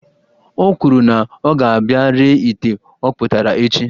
O kwuru na ọ ga-abia ree ite ọkpụtara echi